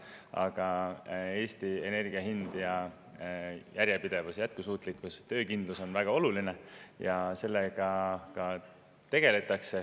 Aga energia hind ja järjepidevus, jätkusuutlikkus, töökindlus Eestis on väga oluline ja sellega ka tegeletakse.